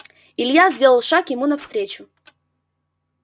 илья сделал шаг ему навстречу